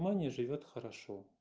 ваня живёт хорошо